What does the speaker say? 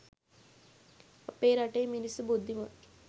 අපේ රටේ මිනිස්සු බුද්ධිමත්